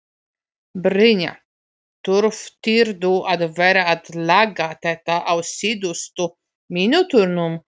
Brynja: Þurftirðu að vera að laga þetta á síðustu mínútunum?